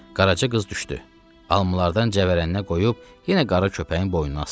Qaraca qız düşdü, almalardan cəvərəninə qoyub yenə qara köpəyin boynuna asdı.